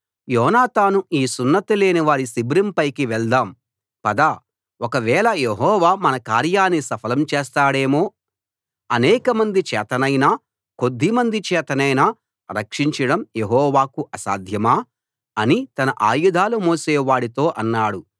యోనాతాను ఈ సున్నతి లేనివారి శిబిరంపైకి వెళ్దాం పద ఒకవేళ యెహోవా మన కార్యాన్ని సఫలం చేస్తాడేమో అనేకమంది చేతనైనా కొద్దిమంది చేతనైనా రక్షించడం యెహోవాకు అసాధ్యమా అని తన ఆయుధాలు మోసేవాడితో అన్నాడు